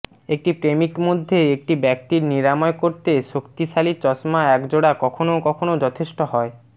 একটি প্রেমিক মধ্যে একটি ব্যক্তির নিরাময় করতে শক্তিশালী চশমা একজোড়া কখনও কখনও যথেষ্ট হয়